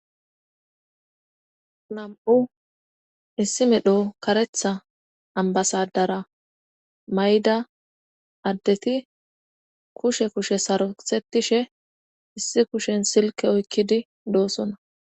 Nam7u issi medho karetha ambasadara mayda addeti kushe kushe sarosetishe issi kushen silke oykkidi doosona.